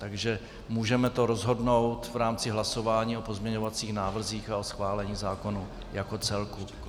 Takže to můžeme rozhodnout v rámci hlasování o pozměňovacích návrzích a o schválení zákonu jako celku.